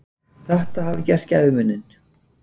Þetta hafi gert gæfumuninn.